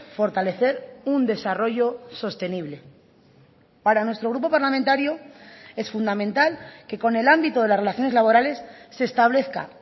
fortalecer un desarrollo sostenible para nuestro grupo parlamentario es fundamental que con el ámbito de las relaciones laborales se establezca